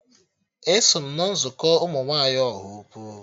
Eso m na nzukọ ụmụ nwaanyị Ọhaukwu